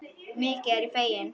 Mikið er ég fegin.